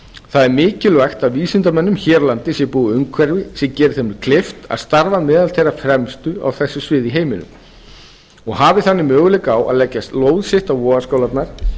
það er mikilvægt að vísindamönnum hér á landi sé búið umhverfi sem geri þeim kleift að starfa meðal þeirra fremstu á þessu sviði í heiminum og hafi þannig möguleika á að leggja lóð sitt á vogarskálarnar